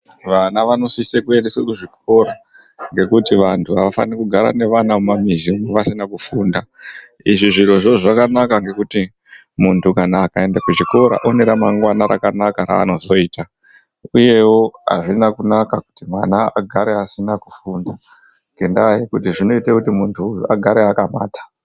Vana vanosise kuendeswe kuzvikora ngekuti vantu avafaniri kugara navana mumamizimwo vasina kufunda. Izvi zvirozvo zvakanaka ngekuti muntu kana akaende kuchikora une ramangwana rakanaka raanozoita. Uyewo hazvina kunaka kuti mwana agare asina kufunda. Ngendaa yekuti zvinoite kuti muntu agare akapata.